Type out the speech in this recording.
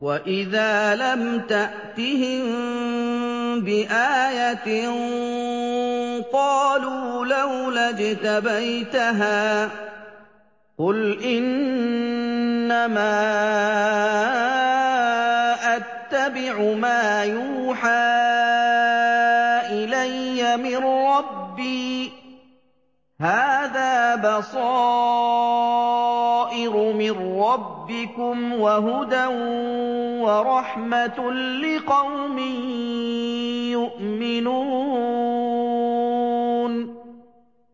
وَإِذَا لَمْ تَأْتِهِم بِآيَةٍ قَالُوا لَوْلَا اجْتَبَيْتَهَا ۚ قُلْ إِنَّمَا أَتَّبِعُ مَا يُوحَىٰ إِلَيَّ مِن رَّبِّي ۚ هَٰذَا بَصَائِرُ مِن رَّبِّكُمْ وَهُدًى وَرَحْمَةٌ لِّقَوْمٍ يُؤْمِنُونَ